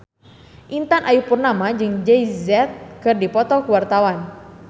Intan Ayu Purnama jeung Jay Z keur dipoto ku wartawan